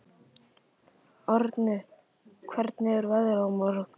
Árni, hvernig er veðrið á morgun?